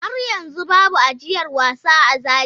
Har yanzu babu ajiyar wasa a Zaria.